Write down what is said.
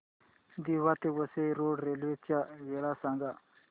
दिवा ते Vasai road railway च्या वेळा सांगा